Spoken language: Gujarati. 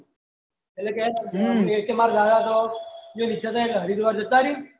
એટલે કે મારા દાદા ને ઈચ્છા થયી ગયી કે હરિદ્વાર જતા રહી